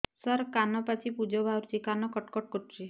ସାର କାନ ପାଚି ପୂଜ ବାହାରୁଛି କାନ କଟ କଟ କରୁଛି